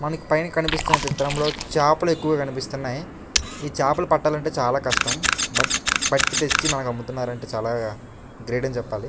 మనం పైన కనిపిస్తే చిత్రంలో చేపలు ఎక్కువ కనిపిస్తున్నాయి. ఈ చాపలు పట్టాలంటే చాలా కష్టం. బట్ పట్టి తెచ్చి మనకు అమ్ముతున్నారు అంటే చాలా గ్రేట్ అని చెప్పాలి.